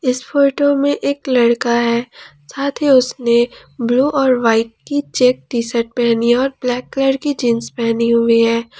इस फोटो में एक लड़का है साथ ही उसने ब्लू और वाइट की चैक टी शर्ट पहनी है और ब्लैक कलर की जीन्स पहनी हुई है।